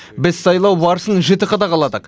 біз сайлау барысын жіті қадағаладық